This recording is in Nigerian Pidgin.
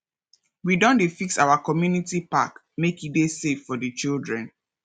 we don dey fix our community park make e dey safe for di children